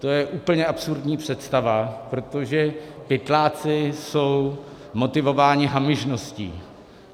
To je úplně absurdní představa, protože pytláci jsou motivováni hamižností.